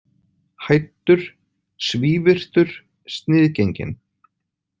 Hæddur, svívirtur, sniðgenginn.